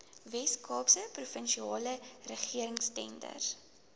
weskaapse provinsiale regeringstenders